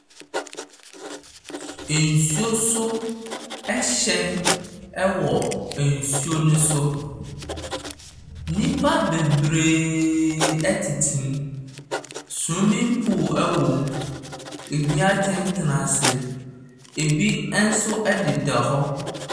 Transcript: Nsuo so ɛhyɛn ɛwɔ nsuo no so. Nnipa bebreee ɛtetem. Swemen pul ɛwɔm. Ɛbi atɛntɛna ase. Ɛbi ɛnso ɛdeda hɔ.